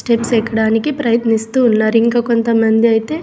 Steps ఎక్కడానికి ప్రయత్నిస్తూ ఉన్నారు ఇంకా కొంతమంది అయితే.